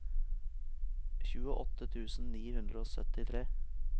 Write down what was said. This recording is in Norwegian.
tjueåtte tusen ni hundre og syttitre